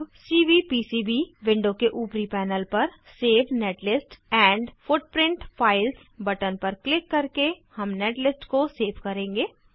अब CVPCB window के ऊपरी पैनल पर save netlist and footprint files button पर क्लिक करके हम नेटलिस्ट को सेव करेंगे